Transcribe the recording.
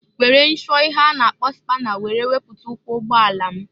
Were nshụọ ihe a na-akpọ spana were wepụta ụkwụ ụgbọ ala m.